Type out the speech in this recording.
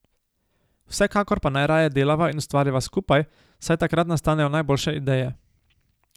Vsekakor pa najraje delava in ustvarjava skupaj, saj takrat nastanejo najboljše ideje.